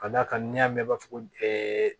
Ka d'a kan n'i y'a mɛn ko ɛɛ